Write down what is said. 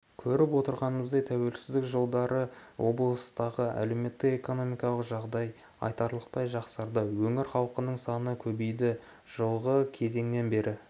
көріп отырғанымыздай тәуелсіздік жылдары облыстағы әлеуметтік-экономикалық жағдай айтарлықтай жақсарды өңір халқының саны көбейді жылғы кезеңнен бері